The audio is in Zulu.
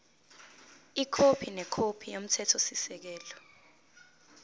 ikhophi nekhophi yomthethosisekelo